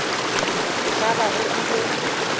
go ka ba go bile